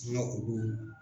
k'olu.